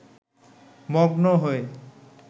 মগ্ন হয়ে